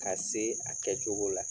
Ka se a kɛcogo la